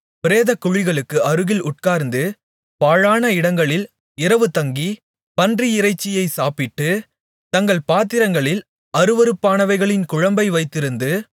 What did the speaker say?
பிரேதக்குழிகளுக்கு அருகில் உட்கார்ந்து பாழான இடங்களில் இரவுதங்கி பன்றியிறைச்சியை சாப்பிட்டு தங்கள் பாத்திரங்களில் அருவருப்பானவைகளின் குழம்பை வைத்திருந்து